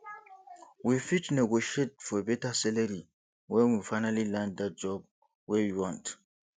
we fit negotiate for beta salary when we finally land that job wey we want